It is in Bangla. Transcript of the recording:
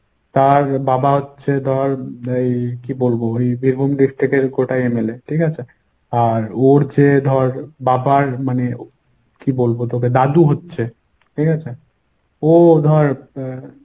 তার বাবা হচ্ছে ধর এই কী বলবো এই বেগম কোটায় MLA ঠিকাছে? আর ওর যে ধর বাবার মানে কী বলবো তোকে দাদু হচ্ছে ঠিকাছে ও ধর এর